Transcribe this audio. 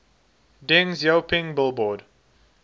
deng xiaoping billboard